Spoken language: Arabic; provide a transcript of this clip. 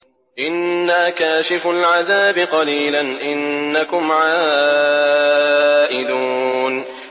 إِنَّا كَاشِفُو الْعَذَابِ قَلِيلًا ۚ إِنَّكُمْ عَائِدُونَ